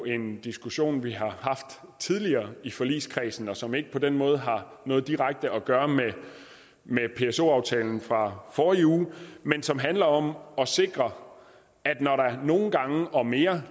en diskussion vi har haft tidligere i forligskredsen og som ikke på den måde har noget direkte at gøre med pso aftalen fra forrige uge men som handler om at sikre at når der nogle gange og mere